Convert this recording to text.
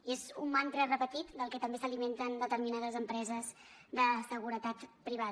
i és un mantra repetit del que també s’alimenten determinades empreses de seguretat privada